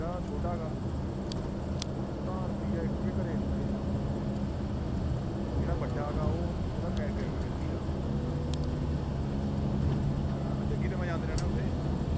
ਜਿਹੜਾ ਛੋਟਾ ਗਾ, ਉਹ ਤਾਂ ਰੁਪਇਆ ਇੱਕ ਵੀ ਨੀ ਘਰੇ ਦਿੰਦਾ ਯਾਰ। ਜਿਹੜਾ ਵੱਡਾ ਗਾ ਉਹ ਉਹਦਾ cafe ਆ ਹੈਪੀ ਦਾ। ਜੱਗੀ ਤੇ ਮੈਂ ਜਾਂਦੇ ਰਹਿੰਦੇ ਆ ਉੱਥੇ।